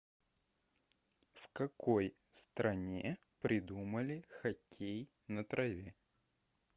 в какой стране придумали хоккей на траве